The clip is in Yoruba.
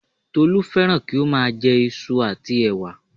Tolú fẹ́ràn kí ó má a jẹ isu àti ẹ̀wà